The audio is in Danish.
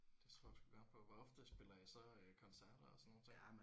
Det tror jeg sgu gerne på. Hvor ofte spiller I så øh koncerter og sådan nogle ting?